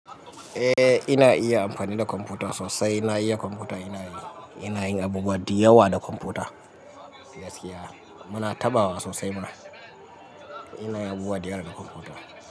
Eh ina iya amfani da kwamfuta sosai. Ina iya kwamfuta, ina yi, ina yin abubuwa da yawa da kwamfuta. Gaskiya muna taɓawa sosai. Ina yi abubuwa da yawa na kwamfuta.